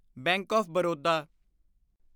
bank of Baroda